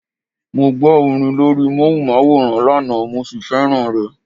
Mo gbọ́ orin lórí móhùnmáwòrán lánàá mo sì fẹ́ràn rẹ̀.